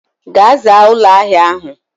Gaa zaa ulo ahia ahu